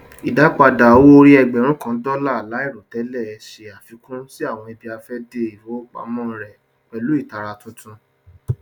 ìdápadà owóòrí ẹgbẹrún kan dólà láìròtẹlẹ ṣe àfikún sí àwọn ibiafẹde ifowopamọ rẹ pẹlú ìtara tuntun